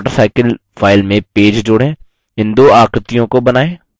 mywatercycle file में page जोड़ें